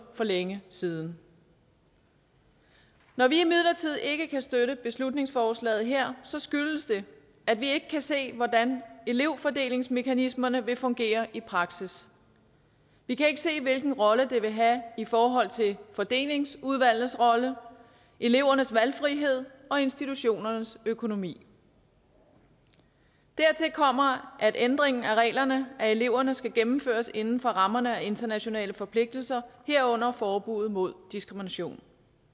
for længe siden når vi imidlertid ikke kan støtte beslutningsforslaget her skyldes det at vi ikke kan se hvordan elevfordelingsmekanismerne vil fungere i praksis vi kan ikke se hvilken rolle det vil have i forhold til fordelingsudvalgets rolle elevernes valgfrihed og institutionernes økonomi dertil kommer at ændringen af reglerne for eleverne skal gennemføres inden for rammerne af internationale forpligtelser herunder forbuddet mod diskrimination